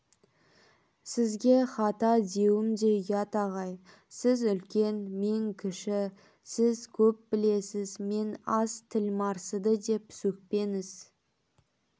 сізге хата деуім де ұят ағай сіз үлкен мен кіші сіз көп білесіз мен аз тілмарсыды деп сөкпеңіз